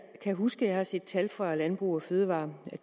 kan huske jeg har set tal fra landbrug fødevarer